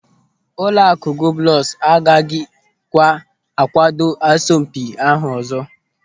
Ụlọakụ Globus a gaghịkwa a kwado asọmpi ahụ ọzọ.